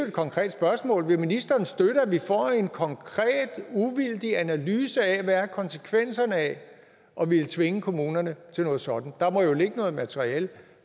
et konkret spørgsmål vil ministeren støtte at vi får en konkret uvildig analyse af hvad konsekvenserne er af at ville tvinge kommunerne til noget sådant der må jo ligge noget materiale